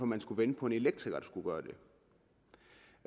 man skulle vente på en elektriker